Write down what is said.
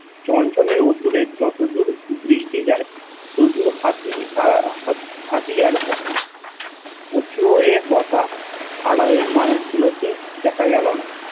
চনচনে উদূরে যতদূর দৃষ্টি যায় যায় শুধু হাতি হাতি আর হাতি উচু হয়ে বসা আড়ালের মানুষ গুলো কে দেখা গেল না